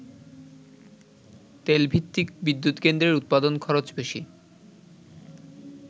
তেল ভিত্তিক বিদ্যুৎ কেন্দ্রের উৎপাদন খরচ বেশি।